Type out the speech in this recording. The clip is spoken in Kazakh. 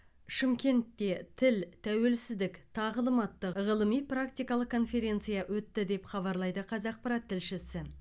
шымкентте тіл тәуелсіздік тағылым атты ғылыми практикалық конференция өтті деп хабарлайды қазақпарат тілшісі